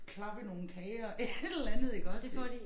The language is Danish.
Klappe i nogle kager et eller andet iggås det